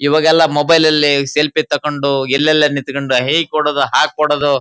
ಈವಾಗೆಲ್ಲಾ mobile ಅಲ್ಲಿ selfie ತೊಕೊಂಡು ಎಲ್ಲೆಯೆಲ್ಲಾನಿಂತುಕೊಂಡು ಹೆಕೊಡೋದು ಹಾಕೊಡೋದು.